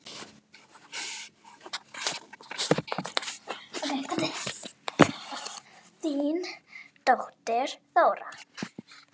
Þín dóttir, Þóra.